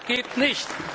Das geht nicht!